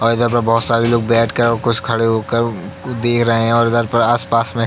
और इधर पर बोहोत सारे लोग बैठ कर और कुछ खड़े को कुछ दे रहे हैं और इधर पर आस-पास में --